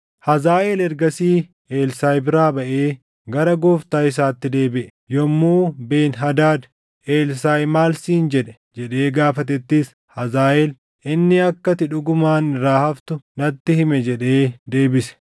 Hazaaʼeel ergasii Elsaaʼi biraa baʼee gara gooftaa isaatti deebiʼe. Yommuu Ben-Hadaad, “Elsaaʼi maal siin jedhe?” jedhee gaafatettis, Hazaaʼeel, “Inni akka ati dhugumaan irraa haftu natti hime” jedhee deebise.